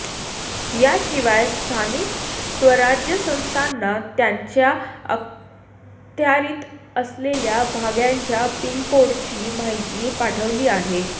याशिवाय स्थानिक स्वराज्य संस्थांना त्यांच्या अखत्यारित असलेल्या भागांच्या पिनकोडची माहिती पाठवली आहे